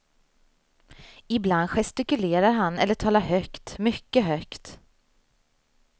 Ibland gestikulerar han eller talar högt, mycket högt.